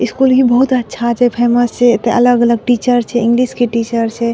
School ही बहुत अच्छा छै फेमस छै त अलग-अलग टीचर्स छै इंग्लिश के टीचर्स छै।